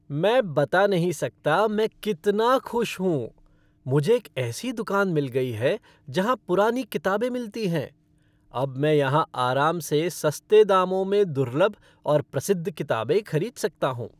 मैं बता नहीं सकता मैं कितना खुश हूँ, मुझे एक ऐसी दुकान मिल गई है जहां पुरानी किताबें मिलती हैं। अब मैं यहां आराम से सस्ते दामों में दुर्लभ और प्रसिद्ध किताबें खरीद सकता हूँ।